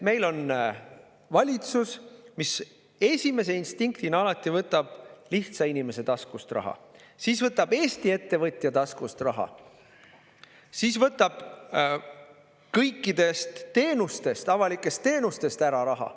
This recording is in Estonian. Meil on valitsus, kelle esimene instinkt on alati, et tuleb võtta raha lihtsa inimese taskust, siis ta võtab raha Eesti ettevõtja taskust ja siis võtab kõikidelt avalikelt teenustelt raha ära.